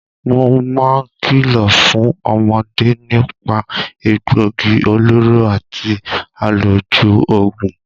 Mo máa ń kìlọ̀ fún ọmọde nípà egbòogi olóró àti àlòjù oògùn.